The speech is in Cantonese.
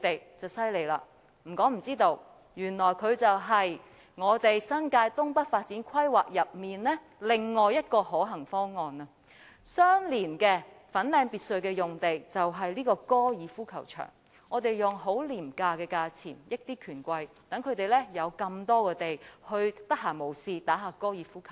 如果不說大家也不會知道，原來它是新界東北發展規劃中另外一個可行方案，相連粉嶺別墅的用地便是高爾夫球場，我們以很廉宜的價錢利便權貴，有這麼多土地，讓他們閒時可以玩玩高爾夫球。